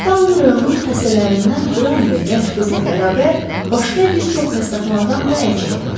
Daun rayonunun xəstələrindən Qran və gənc qızla bərabər başqa bir çox xəstəxanadan da əl çəkdi.